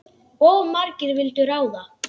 Of margir vildu ráða.